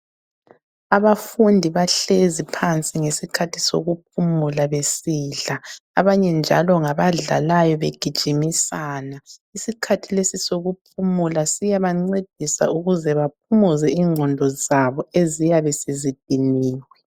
Abafundi bahlezi phansi ngesikhathi sokuphumula besidla abanye njalo ngabadlalayo begijimisana. Isikhathi lesi sokuphumula siyabancedisa ukuze baphumuze ingqondo zabo eziyabe sezidiniwe.